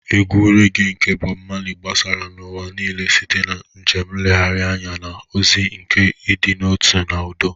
Egwu regee nke Bob Marley gbasara n'ụwa niile site na njem nlegharị anya, na ozi nke ịdị n'otu na udo.